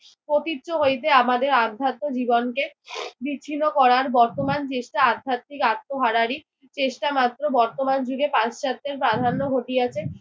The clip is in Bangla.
পতিত্ব হইতে আমাদের আধ্যত্ম জীবনকে বিচ্ছিন্ন করার বর্তমান চেষ্টা আধ্যাত্মিক আত্মহারারই চেষ্টা মাত্র। বর্তমান যুগে পাশ্চাত্যের প্রাধান্য ঘটিয়াছে।